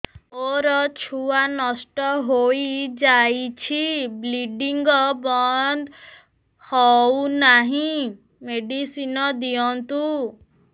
ମୋର ଛୁଆ ନଷ୍ଟ ହୋଇଯାଇଛି ବ୍ଲିଡ଼ିଙ୍ଗ ବନ୍ଦ ହଉନାହିଁ ମେଡିସିନ ଦିଅନ୍ତୁ